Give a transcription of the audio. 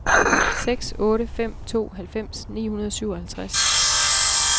seks otte fem to halvfems ni hundrede og syvoghalvtreds